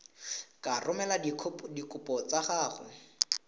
ka romela dikopo tsa gago